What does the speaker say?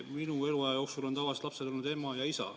Minu eluaja jooksul on tavaliselt lapsel olnud ema ja isa.